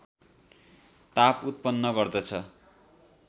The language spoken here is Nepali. ताप उत्पन्न गर्दछ